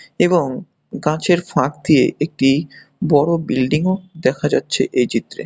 এবং গাছের ফাঁক দিয়ে একটি বড় বিল্ডিংও দেখা যাচ্ছে এই চিত্রে।